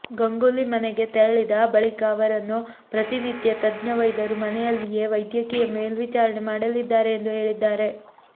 ಗಂಗೂಲಿ ಮನೆಗೆ ತೆರಳಿದ ಬಳಿಕ ಅವರನ್ನು ಪ್ರತಿನಿತ್ಯ ತಜ್ಞ ವೈದ್ಯರು ಮನೆಯಲ್ಲಿಯೇ ವೈದ್ಯಕೀಯ ಮೇಲ್ವಿಚಾರಣೆ ಮಾಡಲಿದ್ದಾರೆ ಎಂದು ಹೇಳಿದ್ದಾರೆ